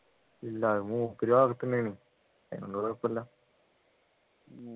ഇല്ല അത് മൂപ്പര് വളർത്തുന്നെ ആണ് അതിനൊണ്ട് കുഴപ്പമില്ല